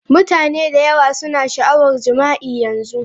Mutane da yawa suna da sha'awar jima'i a yanzu.